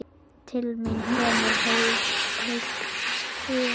Til mín kemur heilt sumar.